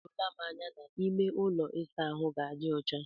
O doola m anya na ime ụlọ ịsa ahụ ga na-adi ọcha.